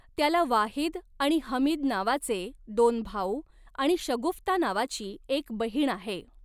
त्याला वाहिद आणि हमीद नावाचे दोन भाऊ, आणि शगुफ्ता नावाची एक बहीण आहे.